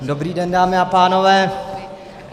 Dobrý den, dámy a pánové.